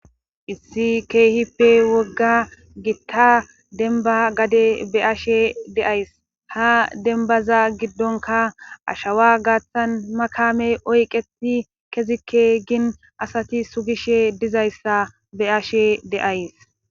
issi keehippe wogga gitta denba gade be ashe deays ha denbaza giddonka ashawa gaaththan makamey oyqeti kezikke gin asati sugishe dizayssa be ashe deays